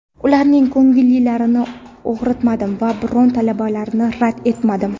ularning ko‘ngillarini og‘ritmadim va biron talablarini rad etmadim.